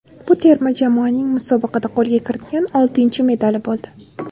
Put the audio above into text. Bu terma jamoaning musobaqada qo‘lga kiritgan oltinchi medali bo‘ldi.